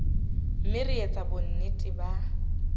mme re etse bonnete ba